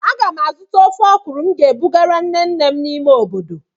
Aga m azụta ofe okra m ga-ebugara nne nne m n'ime obodo.